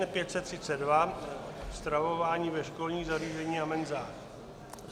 N532 - stravování ve školních zařízeních a menzách.